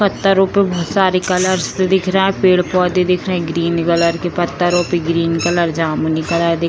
पत्थरों पे बहुत सारी कलर्स दिख रहा पेड़-पौधे दिख रहे ग्रीन कलर के पत्थरों पर ग्रीन कलर जामुनी कलर दिख --